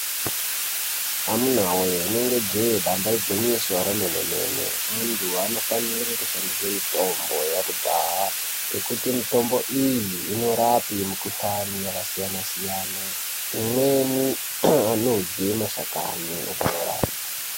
Amuna woye rinenge jee damba igwinyiso remene- mene. Anthu anofanire kushandise mitombo yakhudhaya ngekuti mitombo iyi inorape mikhuhlani yakasiyana-siyana .Imweni, anodye mashakhani opora.